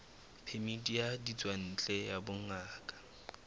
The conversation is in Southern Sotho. phemiti ya ditswantle ya bongaka